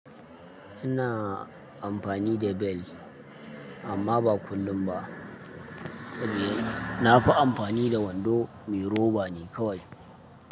Ina amfani da bel amma ba kullum ba. Na fi amfani da wando me roba ne kawai.